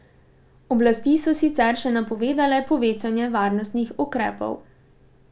Oblasti so sicer še napovedale povečanje varnostnih ukrepov.